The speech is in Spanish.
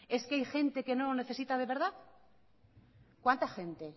es que hay gente que no lo necesita de verdad cuánta gente